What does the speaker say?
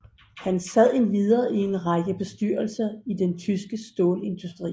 Han sad endvidere i en række bestyrelser i den tyske stålindustri